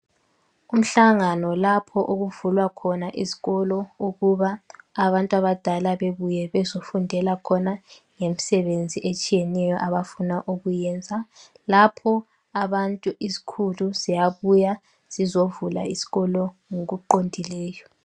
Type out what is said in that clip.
Umhlangano lapho okuvulwa khona izikolo ukuba abantu abadala bebuye bezofundela khona ngemisebenzi etshiyeneyo abafuna ukuyenza, lapho abantu izikhulu ziyabuya zizovula izikolo ngokuqondileyo.